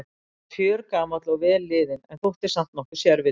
Hann varð fjörgamall og vel liðinn- en þótti samt nokkuð sérvitur.